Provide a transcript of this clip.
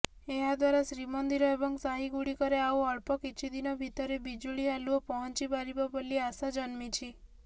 ଏହାଦ୍ବାରା ଶ୍ରୀମନ୍ଦିର ଏବଂ ସାହିଗୁଡ଼ିକରେ ଆଉ ଅଳ୍ପ କିଛିଦିନ ଭିତରେ ବିଜୁଳି ଆଲୁଅ ପହଞ୍ଚିପାରିବ ବୋଲି ଆଶା ଜନ୍ମିଛି